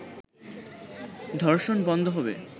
ধর্ষণ বন্ধ হবে